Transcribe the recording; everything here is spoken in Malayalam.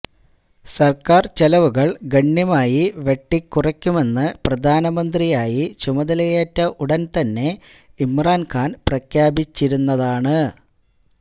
സർക്കാർ ചെലവുകൾ ഗണ്യമായി വെട്ടിക്കുറക്കുമെന്ന് പ്രധാനമന്ത്രിയായി ചുമതലയേറ്റ ഉടൻ തന്നെ ഇമ്രാൻ ഖാൻ പ്രഖ്യാപിച്ചിരുന്നതാണ്